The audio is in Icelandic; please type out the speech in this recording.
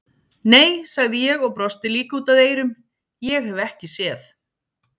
Nei, sagði ég og brosti líka út að eyrum, ég hef ekki séð